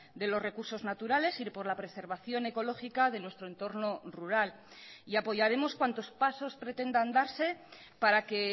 de los recursos naturales y por la preservación ecológica de nuestro entorno rural y apoyaremos cuantos pasos pretendan darse para que